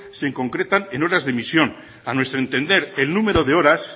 se concretan en horas de emisión a nuestros entender el número de horas